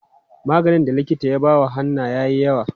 Maganin da likita ya ba Hannah yayi yawa.